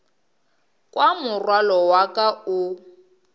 kwa morwalo wa ka o